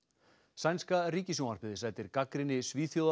sænska ríkissjónvarpið sætir gagnrýni